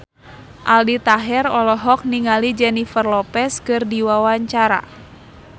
Aldi Taher olohok ningali Jennifer Lopez keur diwawancara